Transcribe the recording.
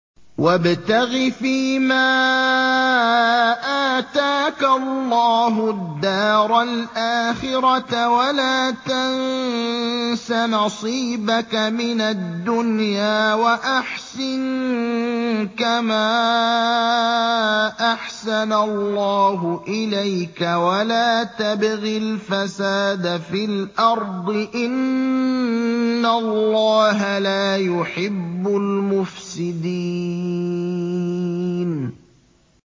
وَابْتَغِ فِيمَا آتَاكَ اللَّهُ الدَّارَ الْآخِرَةَ ۖ وَلَا تَنسَ نَصِيبَكَ مِنَ الدُّنْيَا ۖ وَأَحْسِن كَمَا أَحْسَنَ اللَّهُ إِلَيْكَ ۖ وَلَا تَبْغِ الْفَسَادَ فِي الْأَرْضِ ۖ إِنَّ اللَّهَ لَا يُحِبُّ الْمُفْسِدِينَ